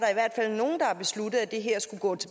en kort